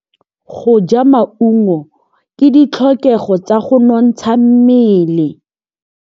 Go ja maungo ke ditlhokegô tsa go nontsha mmele.